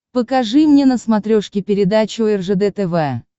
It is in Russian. покажи мне на смотрешке передачу ржд тв